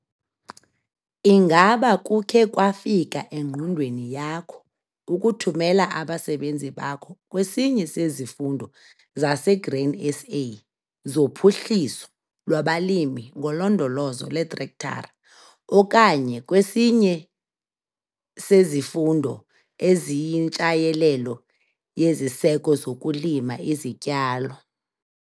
Ingaba kukhe kwafika engqondweni yakho ukuthumela abasebenzi bakho kwesinye sezifundo zaseGrain SA zoPhuhliso lwabaLimi ngoLondolozo lweTrektara okanye kwesinye sezifundo eziyiNtshayelelo yeziSeko zokuLima iziTyalo?